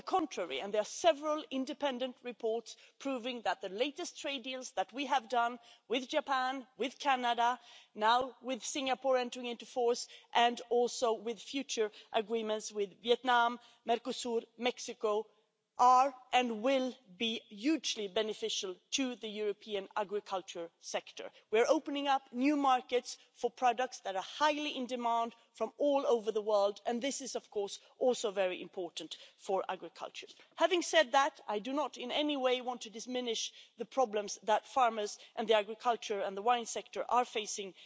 On the contrary, there are several independent reports proving that the latest trade deals that we have done with Japan, with Canada and now with Singapore, which is entering into force, and also future agreements with Vietnam, Mercosur and Mexico, are and will be hugely beneficial to the European agriculture sector. We're opening up new markets for products that are highly in demand from all over the world, and this is, of course, also very important for agriculture. Having said that, I do not in any way want to diminish the problems that farmers and the agricultural and wine sectors are facing